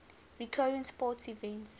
recurring sporting events